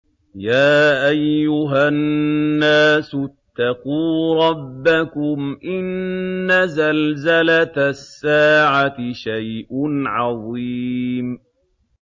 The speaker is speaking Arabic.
يَا أَيُّهَا النَّاسُ اتَّقُوا رَبَّكُمْ ۚ إِنَّ زَلْزَلَةَ السَّاعَةِ شَيْءٌ عَظِيمٌ